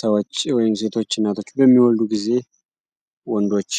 ሰዎች ወይም ሴቶች እናቶች በሚወዱ ጊዜ ወንዶች